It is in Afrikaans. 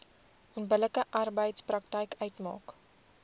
onbillike arbeidspraktyk uitmaak